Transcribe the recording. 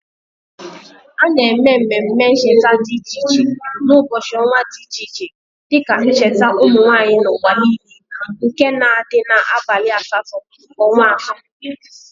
Ana eme ememe ncheta di iche iche n'ubochi onwa di iche iche dike njeta umunwanyi n"uwa niile nke na adi n"abali asto nke onwa ato.